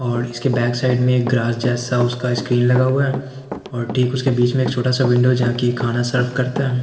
और इसके back side में एक ग्रास जैसा उसका स्क्रीन लगा हुआ है और ठीक उसके बीच में एक छोटा सा विंडो जहां कि खाना सर्व करता है।